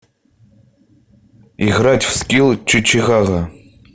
играть в скилл чичигага